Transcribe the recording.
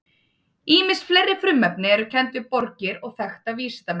Ýmis fleiri frumefni eru kennd við borgir og þekkta vísindamenn.